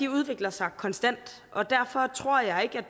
udvikler sig konstant og derfor tror jeg